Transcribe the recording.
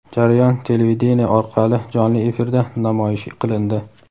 Jarayon televideniye orqali jonli efirda namoyish qilindi.